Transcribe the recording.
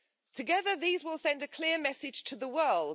Together these will send a clear message to the world.